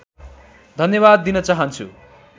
धन्यवाद दिन चाहन्छु